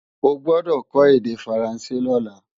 O gbọ́dọ̀ kó èdè Faransé lọ́la!